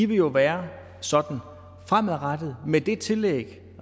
vil jo være sådan fremadrettet med det tillæg